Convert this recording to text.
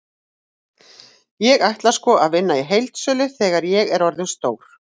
Ég ætla sko að vinna í heildsölu þegar ég er orðinn stór.